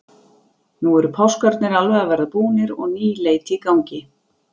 Nú eru páskarnir alveg að verða búnir og ný leit í gangi.